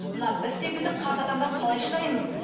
мына біз секілді қарт адамдар қалай шыдаймыз